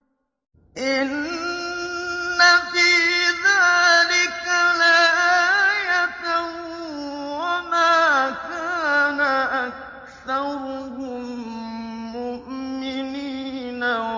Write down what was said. إِنَّ فِي ذَٰلِكَ لَآيَةً ۖ وَمَا كَانَ أَكْثَرُهُم مُّؤْمِنِينَ